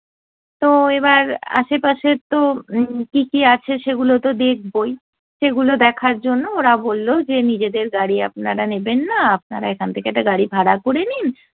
তো এবার আশে পাশে তো উম কী কী আছে সেগুলো তো দেখবোই। সেগুলো দেখার জন্য ওরা বলল যে নিজেদের গাড়ি আপনারা নেবেন না আপনারা এখান থেকে একটা গাড়ি ভাড়া করে নিন,